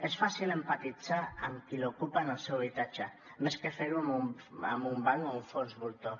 és fàcil empatitzar amb qui li ocupen el seu habitatge més que fer ho amb un banc o un fons voltor